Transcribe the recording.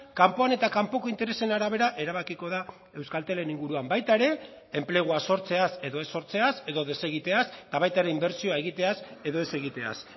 kanpoan eta kanpoko interesen arabera erabakiko da euskaltelen inguruan baita ere enplegua sortzeaz edo ez sortzeaz edo desegiteaz eta baita ere inbertsioa egiteaz edo ez egiteaz